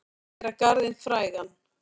Að gera garðinn frægan